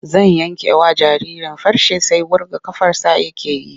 Zan yankewa jaririn farce sai wurga ƙafarsa yake yi.